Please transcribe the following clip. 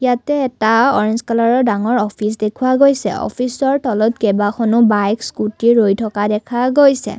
ইয়াতে এটা অৰেঞ্জ কালাৰৰ ডাঙৰ অফিচ দেখুৱা গৈছে অফিচৰ তলত কেইবাখনো বাইক স্কুটি ৰৈ থকা দেখা গৈছে।